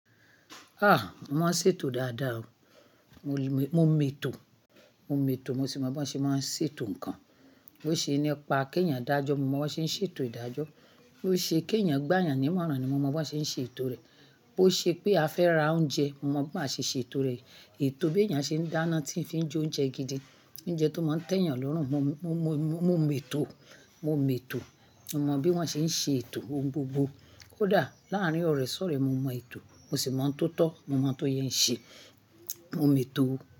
Ah! Mo máa ń ṣètò dáadáa o. Mo mẹ́to, mo mẹ́to, mo sì mọ bí wọ́n ṣe máa ń ṣètò nǹkan. Bí ó ṣe nípa kí ènìyàn dájọ́, mo mọ bí wọ́n ṣe ń ṣètò ìdájọ́. Bí ó ṣe kí ènìyàn gbà yànánimọ́ran ni mo mọ bí wọ́n ṣe ń ṣètò rẹ̀. Bo ṣe pé a fẹ́ ra oúnjẹ, mo mọ bí a ṣe ṣètò rẹ̀. Ètò bí ènìyàn ṣe ń dáná tí ń fi jó oúnjẹ gidi, oúnjẹ tó máa ń tẹ́ ènìyàn lọ́rùn, mo mẹ́to, mo mẹ́to. Mo mọ bí wọ́n ṣe ń ṣe ètò ohun gbogbo. Kódà láàárín ọ̀rẹ́-sọ̀rẹ́, mo mọ ètò, mo sì mo ohun to tọ́, mo mọ tó yẹ ń ṣe. Mo mẹ́to o.